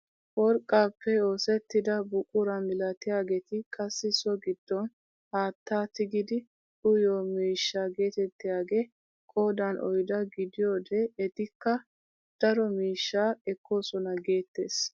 Worqqaappe oosettida buquraa milatiyaageti qassi so giddon haattaa tigidi uyiyoo miishshaa getettiyaagee qoodan oyddaa gidiyoode etikka daro miishshaa ekkoosona geettees.